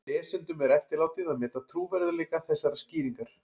Lesendum er eftirlátið að meta trúverðugleika þessarar skýringar.